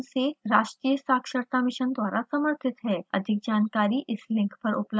यह भारत सरकार के it it आर डी के आई सी टी के माध्यम से राष्ट्रीय साक्षरता mission द्वारा समर्थित है